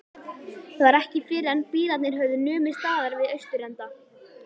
Það var ekki fyrren bílarnir höfðu numið staðar við austurenda